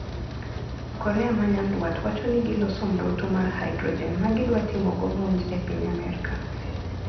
Korea ma nyanduat wacho ni giloso mrutu mar haidrojen ma gidwatimo go monj e piny Amerka.